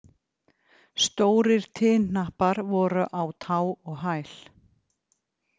Stórir tinhnappar voru á tá og hæl.